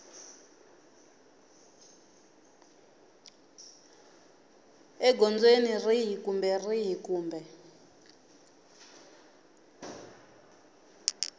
egondzweni rihi kumbe rihi kumbe